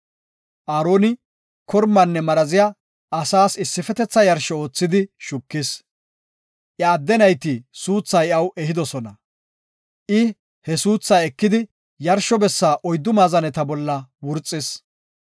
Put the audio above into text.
Aaroni kormanne maraziya asaas issifetetha yarsho oothidi shukis; iya adde nayti suuthaa iyaw ehidosona; I he suuthaa ekidi yarsho bessa oyddu maazaneta bolla wurxis.